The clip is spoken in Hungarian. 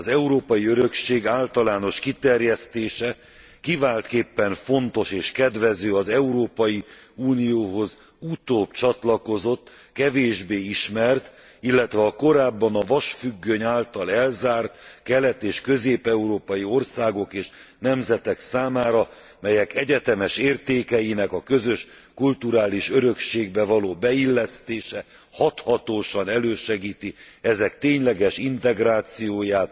Az európai örökség általános kiterjesztése kiváltképpen fontos és kedvező az Európai Unióhoz utóbb csatlakozott, kevésbé ismert, illetve korábban a vasfüggöny által elzárt kelet és közép európai országok és nemzetek számára, melyek egyetemes értékeinek a közös kulturális örökségbe való beillesztése hathatósan elősegíti ezek tényleges integrációját